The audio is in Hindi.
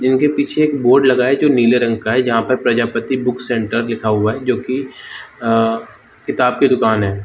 जिनके पीछे एक बोर्ड लगा है जो नीले रंग का है जहां पर प्रजापति बुक सेंटर लिखा हुआ है जो कि किताब की दुकान है।